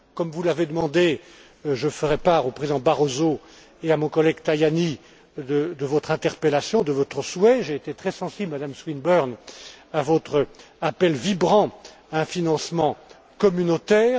Comme vous l'avez demandé, je ferai part au président Barroso et à mon collègue Tajani de votre interpellation et de votre souhait. J'ai été très sensible, Madame Swinburne, à votre appel vibrant à un financement communautaire.